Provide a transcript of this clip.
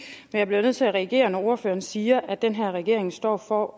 jeg bliver nødt til at reagere når ordføreren siger at den her regering står for